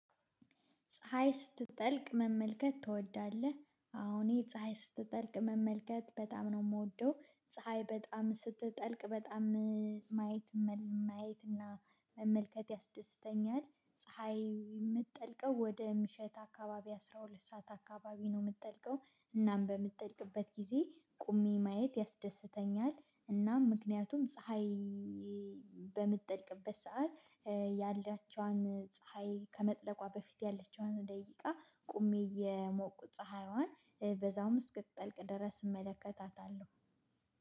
ፀሀይ ስትጠልቅ መመልከት ትወዳለህ? አዎ እኔ ፀሀይ ስትጠልቅ መመልከት በጣም ነው የምወደው ፀሀይ በጣም ስትጠልቅ በጣም እ ማየት ማየት እና መመልከት ያስደስተኛል። ፀሀይ የምትጠልቀው ወደ ምሽት አካባቢ አስራ ሁለት ሰዓት አካባቢ ነው የምትጠልቀው እናም በምትጠልቅበት ጊዜ ቆሜ ማየት ያስደስተኛል። እናም ምክንያቱም ፀሀይ ይ በምትጠልቅበት ሰዓት እ ያላችዋን ፀሀይ ከመጥለቋ በፊት ያለችዋን ደቂቃ ቆሜ የሞቁ ፀሀይዋን እ በዛውም እስክትጠልቅ ድረስ እመለከታታለሁ።